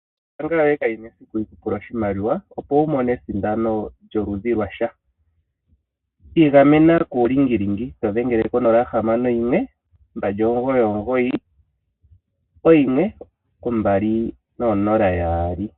Ombaanga yoye kayina esiku yikupule oshimaliwa opo wumone esindano lyoludhi lwasha. Igamena kuulingilingi todhengele ko 0612991200.